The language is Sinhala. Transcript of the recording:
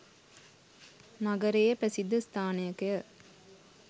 නගරයේ ප්‍රසිද්ධ ස්ථානයකය.